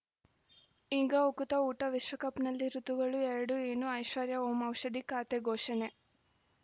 ಈಗ ಉಕುತ ಊಟ ವಿಶ್ವಕಪ್‌ನಲ್ಲಿ ಋತುಗಳು ಎರಡು ಏನು ಐಶ್ವರ್ಯಾ ಓಂ ಔಷಧಿ ಖಾತೆ ಘೋಷಣೆ